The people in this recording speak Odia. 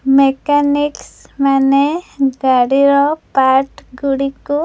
ମେକାନିକସ୍ ମାନେ ଗାଡ଼ିର ପାର୍ଟ ଗୁଡ଼ିକୁ --